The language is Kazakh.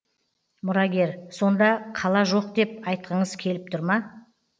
мұрагер сонда қала жоқ деп айтқыңыз келіп тұр ма